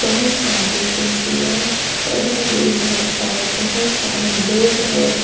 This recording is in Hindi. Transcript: बहोत सारी कुर्सियां पड़ी हुई है और बहोत सारे लोग हैं।